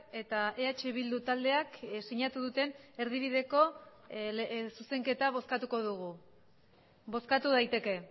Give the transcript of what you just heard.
eta eh bildu taldeak sinatu duten erdibideko zuzenketa bozkatuko dugu bozkatu daiteke